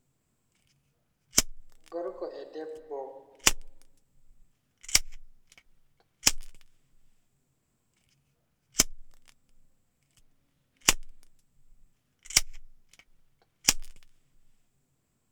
Gorko e debbo.